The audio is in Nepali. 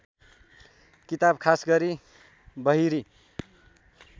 किताब खासगरी बहिरी